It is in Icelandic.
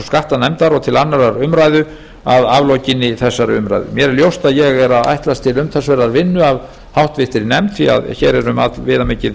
og skattanefndar og til annarrar umræðu að aflokinni þessari umræðu mér er ljóst að ég er að ætlast til umtalsverðrar vinnu af háttvirtum nefnd því að hér er um allviðamikið